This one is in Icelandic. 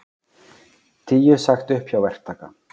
Tíu sagt upp hjá verktaka